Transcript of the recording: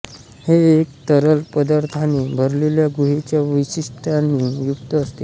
हे एक तरल पदार्थाने भरलेल्या गुहेच्या वैशिष्टयानी युक्त असते